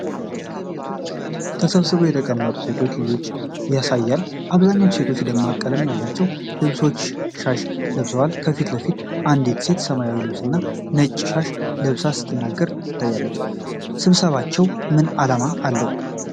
ተሰብስበው የተቀመጡ ሴቶችንና ልጆችን ያሳያል። አብዛኞቹ ሴቶች ደማቅ ቀለም ያላቸው ልብሶችና ሻሽ ለብሰዋል። ከፊት ለፊት አንዲት ሴት ሰማያዊ ልብስና ነጭ ሻሽ ለብሳ ስትናገር ትታያለች። ስብሰባቸው ምን ዓላማ አለው?